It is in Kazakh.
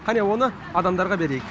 қане оны адамдарға берейік